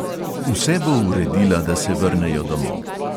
Vse bo uredila, da se vrnejo domov.